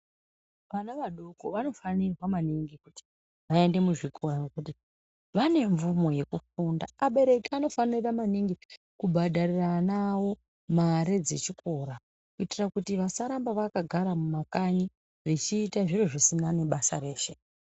Vana vadoko vanofanirwa maningi kuti vaende muzvikora, ngekuti vane mvumo yekufunda. Abereki anofanira maningi kubhadharira ana awo mare dzechikora kuitira kuti vasaramba vakagara mumakanyi vechiita zviro zvisina nebasa reshe.